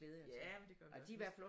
Ja men det gør vi også vi